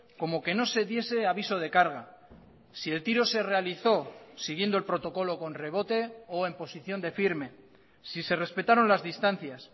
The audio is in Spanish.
como que no se diese aviso de carga si el tiro se realizó siguiendo el protocolo con rebote o en posición de firme si se respetaron las distancias